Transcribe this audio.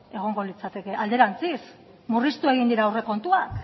egongo litzateke alderantziz murriztuak egin dira aurrekontuak